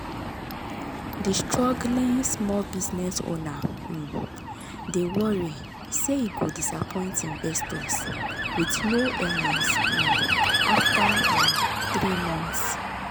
d struggling small business owner um dey worry say e go disappoint investors with low earnings um after um 3 months